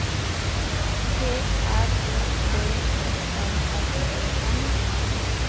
P R O V I N S E N